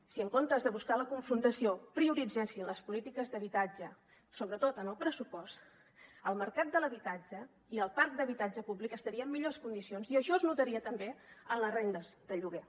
si en comptes de buscar la confrontació prioritzessin les polítiques d’habitatge sobretot en el pressupost el mercat de l’habitatge i el parc d’habitatge públic estarien en millors condicions i això es notaria també en les rendes de lloguer